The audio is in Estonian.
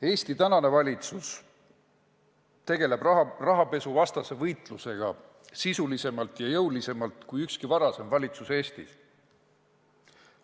Eesti tänane valitsus tegeleb rahapesuvastase võitlusega sisulisemalt ja jõulisemalt kui ükski varasem valitsus Eestis.